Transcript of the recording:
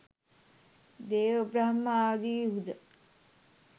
දේව බ්‍රහ්ම ආදීහු ද